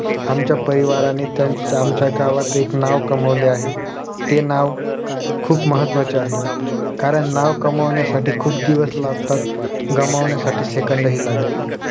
आमच्या परिवाराने त्यांच्या आमच्या गावांत एक नावं कमवले आहे ते नावं खुप महत्वाचे आहे कारण नावं कमवण्यासाठी खुप दिवस लागतात गमवण्यासाठी सेकंद हि लागत नाही